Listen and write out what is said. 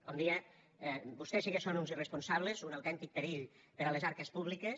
com deia vostès sí que són uns irresponsables un autèntic perill per a les arques públiques